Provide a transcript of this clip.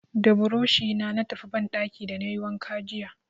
Da burushi na tafi banɗaki da na yi wanka jiya.